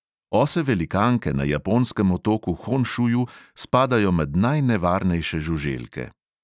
Ose velikanke na japonskem otoku honšuju spadajo med najnevarnejše žuželke.